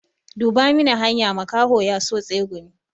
Duba mini hanya, makaho ya so tsegumi.